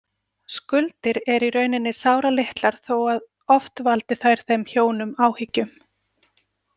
Skuldir eru í rauninni sáralitlar þó að oft valdi þær þeim hjónum áhyggjum.